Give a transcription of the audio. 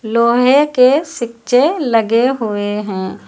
लोहे के सिच्चे लगे हुए हैं।